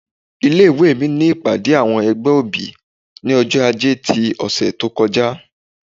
ilé ìwé mí ní ìpàdé awọn ẹgbẹ́ obí, ní ọjọ-ajé tí òsé tó kọjá